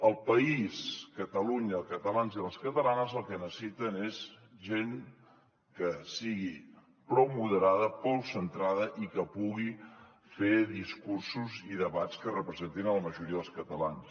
el país catalunya els catalans i les catalanes el que necessiten és gent que sigui prou moderada prou centrada i que pugui fer discursos i debats que representin la majoria dels catalans